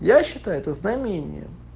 я считаю это знамением